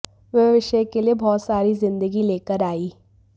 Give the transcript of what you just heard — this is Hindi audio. वह विषय के लिए बहुत सारी जिंदगी लेकर आई